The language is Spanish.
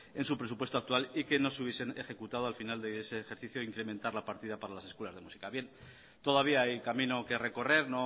en su presupuesto actual y que no se hubiesen ejecutado al final de ese ejercicio incrementar la partida para las escuelas de música bien todavía hay camino que recorrer